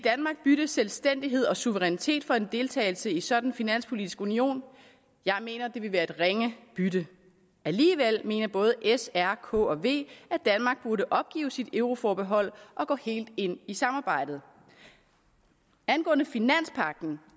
bytte selvstændighed og suverænitet for en deltagelse i en sådan finanspolitisk union jeg mener det ville være et ringe bytte alligevel mener både s r k og v at danmark burde opgive sit euroforbehold og gå helt ind i samarbejdet angående finanspagten